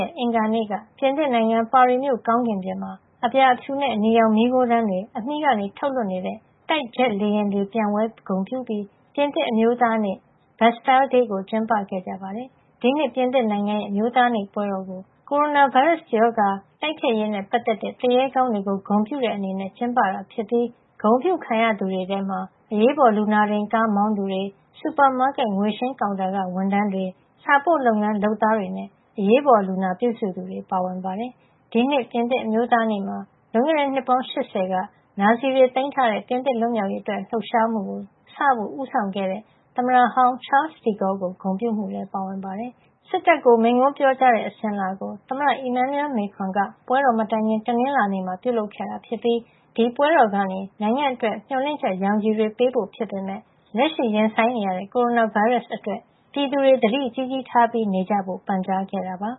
ရက် အင်္ဂါနေ့က ပြင်သစ်နိုင်ငံ ပါရီမြို့ကောင်းကင်ပြင်မှာ အပြာ- အဖြူနဲ့ အနီရောင် မီးခိုးတန်းတွေ အမြီးကနေ ထုတ်လွှတ်နေတဲ့ တိုက်ဂျက်လေယာဉ်တွေ ပျံဝဲဂုဏ်ပြုပြီး ပြင်သစ်အမျိုးသားနေ့ Bastille Day ကို ကျင်းပကြပါတယ်။ ဒီနှစ် ပြင်သစ်နိုင်ငံရဲ့ အမျိုးသားနေ့ပွဲတော်မှာ ကိုရိုနာဗိုင်းရပ်စ် ကပ်ရောဂါတိုက်ဖျက်ရေးနဲ့ ပတ်သက်တဲ့ သူရဲကောင်းတွေကို ဂုဏ်ပြုတဲ့ အနေနဲ့ ကျင်းပတာ ဖြစ်ပြီး ဂုဏ်အပြုခံရသူတွေထဲမှာ အရေးပေါ်လူနာတင်ကား မောင်းသူတွေ၊ စူပါမာကက် ငွေရှင်းကောင်တာက ဝန်ထမ်းတွေ၊ စာပို့လုပ်ငန်း လုပ်သားတွေနဲ့ အရေးပေါ်လူနာပြူစုသူတွေလည်း ပါဝင်ပါတယ်။ ဒီနှစ် ပြင်သစ်အမျိုးသားနေ့မှာ လွန်ခဲ့တဲ့ နှစ်ပေါင်း ၈၀ က နာဇီတွေသိမ်းထားတဲ့ ပြင်သစ် လွတ်မြောက်ရေးအတွက် လှုပ်ရှားမှု French Resistance စဖို့ ဦးဆောင်ခဲ့တဲ့ သမ္မတဟောင်း Charles de Gaulle ကို ဂုဏ်ပြုမှုလည်း ပါဝင်ပါတယ်။ စစ်တပ်ကို မိန့်ခွန်းပြောကြားရာတဲ့ အစဉ်အလာကို သမ္မတ Emmanuel Macron က ပွဲတော်မတိုင်ခင် တနင်္လာနေ့မှာ ပြုလုပ်ခဲ့တာ ဖြစ်ပြီး ဒီပွဲတော်ကနေ နိုင်ငံအတွက် မေ ျှာ်လင့်ချက် ရောင်ခြည်တွေ ပေးဖို့ ဖြစ်ပေမယ့် လက်ရှိရင်ဆိုင်နေရတဲ့ ကိုရိုနာဗိုင်းရပ်စ် အတွက် ပြည်သူတွေ သတိကြီးကြီးထားပြီး နေကြဖို့ ပန်ကြားခဲ့တာပါ